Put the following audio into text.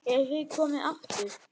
Eruð þið komin aftur?